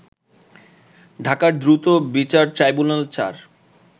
ঢাকার দ্রুত বিচার ট্রাইব্যুনাল-৪